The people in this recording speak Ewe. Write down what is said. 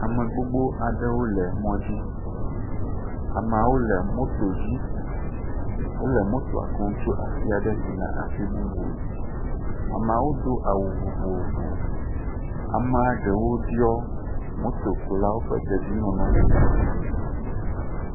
Ame gbogbo aɖewo le mɔ dzi. Ameawo le moto dzi. Wole motoa kum tso afi aɖe yina afi bubu. Ameawo do awu vovovo. Ame ɖewo ɖiɔ motokulawo ƒe dedienɔnɔ ƒe kuku.